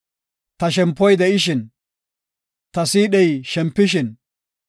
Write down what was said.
Ta shempoy de7ishin, ta siidhey shempishin